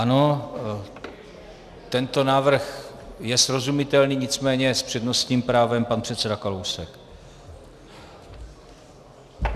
Ano, tento návrh je srozumitelný, nicméně s přednostním právem pan předseda Kalousek.